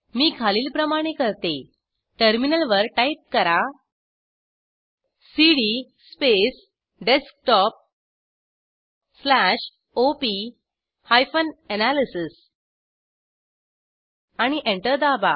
मी खालीलप्रमाणे करते टर्मिनलवर टाईप करा CD space desktop slash op hyphen analysis आणि एंटर दाबा